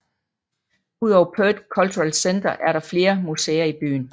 Udover Perth Cultural Centre er der flere museer i byen